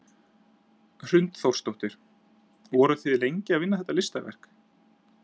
Hrund Þórsdóttir: Voruð þið lengi að vinna þetta listaverk?